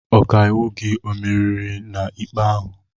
Ọkaiwu gị emeriri n' ikpe ahụ?